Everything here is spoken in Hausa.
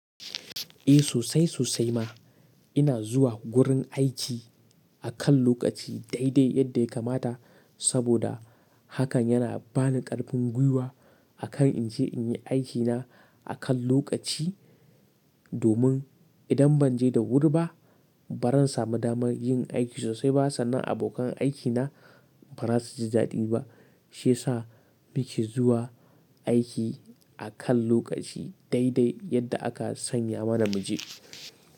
Eh sosai sosai ma ina zuwa gurin aiki akan lokaci daidai yadda ya kamata saboda hakan yana bani ƙarfin gwiwa akan in je in yi aikina akan lokaci, domin idan ban je da wuri ba, ba ran samu daman yin aiki sosai ba sannan abokan aikina ba za su ji daɗi ba. Shi ya sa muke zuwa aiki akan lokaci daidai yadda aka sanya mana mu je.